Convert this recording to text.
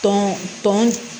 Tɔn tɔn